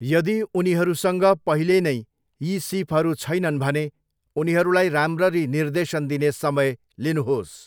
यदि उनीहरूसँग पहिले नै यी सिपहरू छैनन् भने, उनीहरूलाई राम्ररी निर्देशन दिने समय लिनुहोस्।